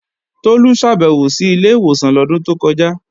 Tolú ṣàbèwò sí ilé ìwòsàn lọ́dún tó kọjá